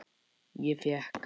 Ég fékk